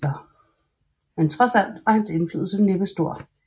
Men trods alt var hans indflydelse næppe stor